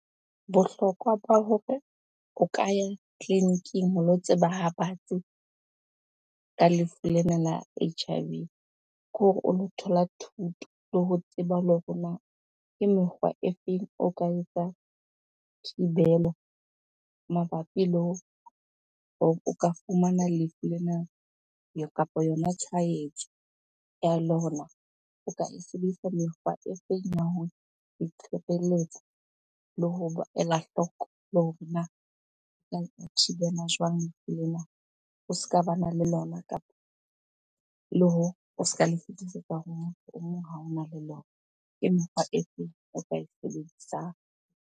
Bohlokwa ba hore o ka ya tleliniking ho lo tseba ha batsi ka lefu lena la H_I_V, ke hore o lo thola thuto le ho tseba le hore na ke mekgwa e feng o ka etsa thibelo mabapi le o ka fumana lefu lena kapa yona tshwahetso ya lona? O ka e sebedisa mekgwa e feng ya ho le ho ela hloko le hore na o ka e thibela jwang lefu lena o se ka bana le lona kapa le hore o ska le fetisetsa ho motho o mong ha ona le lona? Empa e o ka e sebedisang.